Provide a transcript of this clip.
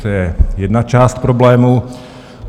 To je jedna část problému.